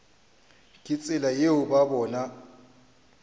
ka tsela yeo ba bona